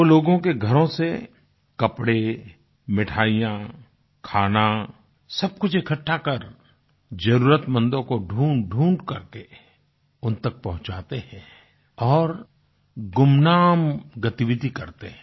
वो लोगों के घरों से कपड़े मिठाइयाँ खाना सब कुछ इकट्ठा कर जरुरतमंदों को ढूंढढूंढ करके उन तक पहुंचाते हैं और गुमनाम गतिविधि करते हैं